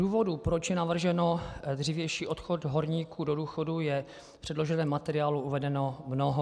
Důvodů, proč je navržen dřívější odchod horníků do důchodu, je v předloženém materiálu uvedeno mnoho.